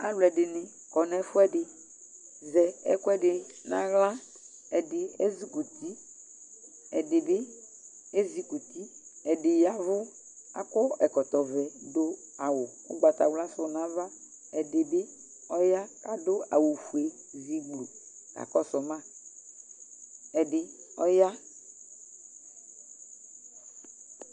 Aalʋɛɖini akɔ n'ɛfuɛɖi zɛ ɛkʋɛɖi n'aɣla ɛɖi ɛzukuti ɛɖibi ɛzukuti ɛɖi ya ɛvu akɔ ɛkɔtɔvɛ ɖʋ awu ʋgbatawla sʋ n'ava ɛɖibi ɔya k'aɖʋ awu fueɖi k'akɔsʋma Ɛɖi ɔyaa